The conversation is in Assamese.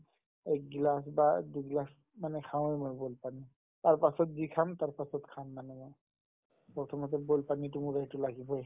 এক গিলাচ বা দুই গিলাচ মানে খাৱয়ে মই boil পানী তাৰপাছত যি খাম তাৰপাছত খাম মানে মই প্ৰথমতে boil পানীতো মোক এইটো লাগিবয়ে